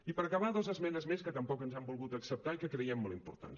i per acabar dos esmenes més que tampoc ens han volgut acceptar i que creiem molt importants